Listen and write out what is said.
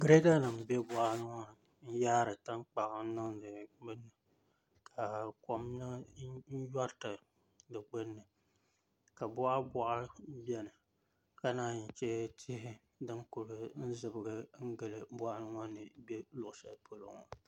Girɛda nim n bɛ boɣali ŋo ni n yaari tankpaɣu n niŋdi binni ka kom yoriti di gbunni ka boɣa boɣa biɛni ka naan chɛ tihi ni kuli zibigi n gili moɣu maa ni bɛ luɣu shɛli polo ŋo